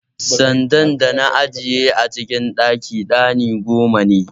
Sandan dana ajiye a cikin ɗakin ɗani goma ne.